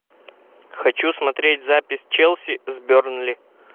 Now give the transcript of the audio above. хочу смотреть запись челси с бернли